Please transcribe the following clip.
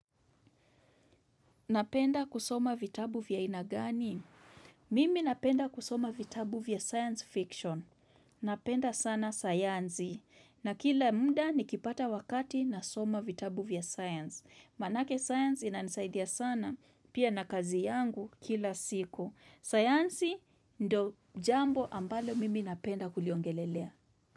Napenda kusoma vitabu vya aina gani? Mimi napenda kusoma vitabu vya science fiction. Napenda sana sayansi. Na kila muda nikipata wakati nasoma vitabu vya science. Maanake science inanisaidia sana pia na kazi yangu kila siku. Sayansi ndio jambo ambalo mimi napenda kuliongelelea.